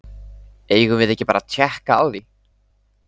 Eigum við ekki bara að tékka á því?